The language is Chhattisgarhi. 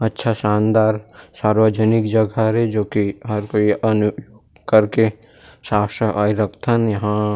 अच्छा शानदार सार्वजनक जगह हरे जो की हर कोई अन्य कर के साफ-सफाई रख थन यहाँ--